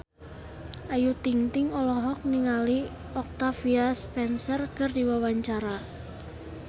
Ayu Ting-ting olohok ningali Octavia Spencer keur diwawancara